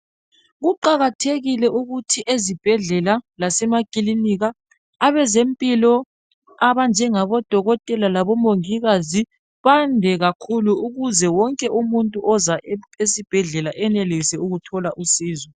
kuqakathekile ukuthi ezibhedlela lasemakilinika abezempilo abanjengabo dokotela labo mongikazi bande kakhulu ukuze wonke umuntu ozayo esibhedlela enelise ukuthola usizo